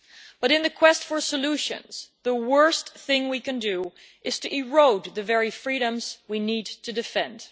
But in the quest for solutions, the worst thing we can do is to erode the very freedoms we need to defend.